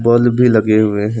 Bulb भी लगे हुए हैं।